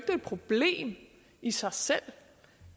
problem i sig selv